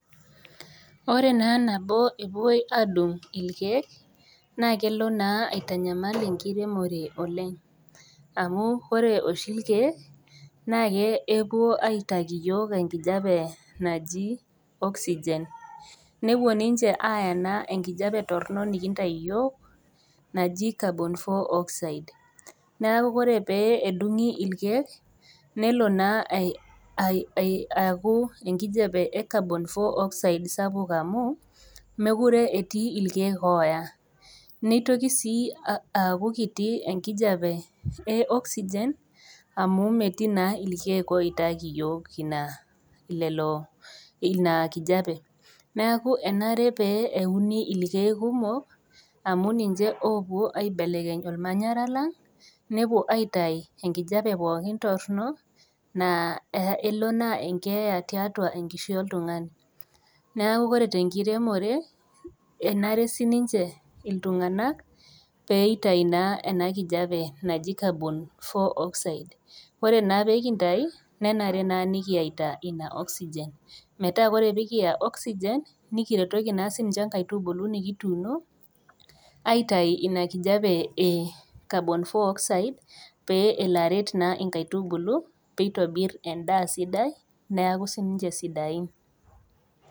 Ore naa nabo epoi aadung' irkiek naa kelo naa aitanyamal enkiremore oleng amu ore oshi irkiek naa kepuo aitaki yook enkijepe naji oxygen nepuo ninche aaya naa enkijepe torono nikintai yook najii carbon four oxide ,neaku ore pee edung'i irkiek nelo naa aaku enkijepe e carbon four oxide sapuk amuu mekure etii irkiek ooya ,neitoki sii aaku kiti enkijape e oxygen amu metii naa irkiek oitaki yook ina lelo ina enkijape, neaku enare pee euni irkiek kumok amu ninche oopuo aibelekeny olmanyara lang nepuo aitai enkijepe pookin torino naa elo naa enkeeya tiatua enkishui oltungani, neakukore te enkiremore enare sii ninche iltungana peitai naa ena enkijape najii carbon four oxide ,ore naa peekintai nenare naa nikiyeita ina oxygen metaa kore peekiya oxygen nikiretoki naa sii ninche nkaitubulu nikituuno aitai ina nkijape e carbon four oxide pee elo aret naa enkaitubulu peitobir endaa sidai neaku sii ninche sidain.